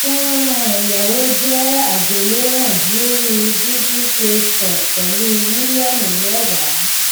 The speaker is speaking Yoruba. fọnrán ẹyáwó jẹ àgbéléwòn lórí google play store pẹlú mílíọnù mẹwàá